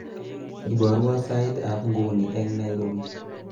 iborwo sait ab nguni ek nairobi